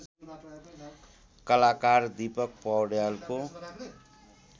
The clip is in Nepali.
कलाकार दिपक पौड्यालको